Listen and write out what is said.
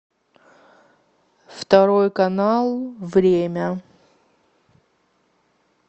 второй канал время